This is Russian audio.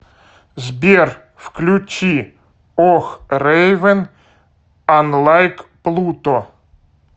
сбер включи ох рейвен анлайк плуто